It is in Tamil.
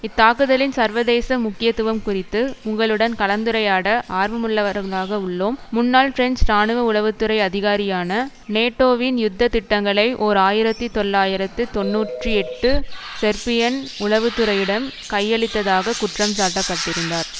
இத்தாக்குதலின் சர்வதேச முக்கியத்துவம் குறித்து உங்களுடன் கலந்துரையாட ஆர்வமுள்ளவர்களாக உள்ளோம் முன்னாள் பிரெஞ்சு இராணுவ உளவு துறை அதிகாரியான நேட்டோவின் யுத்த திட்டங்களை ஓர் ஆயிரத்தி தொள்ளாயிரத்து தொன்னூற்றி எட்டு செர்பியன் உளவு துறையிடம் கையளித்ததாக குற்றம் சாட்டப்பட்டிருந்தார்